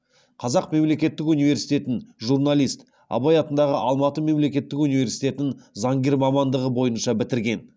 қазақ мемлекеттік университетін журналист абай атындағы алматы мемлекеттік университетін заңгер мамандығы бойынша бітірген